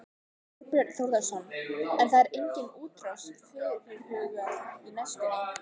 Þorbjörn Þórðarson: En það er engin útrás fyrirhuguð á næstunni?